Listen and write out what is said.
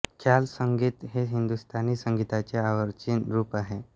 ख्याल संगीत हे हिंदुस्थानी संगीताचे अर्वाचीन रुप आहे